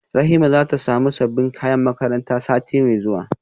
Rahima zata samu sabbin kayan makaranta sati mai zuwa